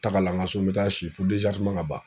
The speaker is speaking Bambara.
Tagalan ka so n bɛ taa si fo ka ban